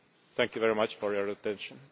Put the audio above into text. Thank you very much for your attention.